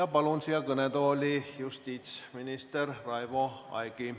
Palun siia kõnetooli justiitsminister Raivo Aegi.